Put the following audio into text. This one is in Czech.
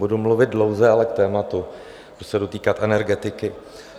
Budu mluvit dlouze, ale k tématu, budu se dotýkat energetiky.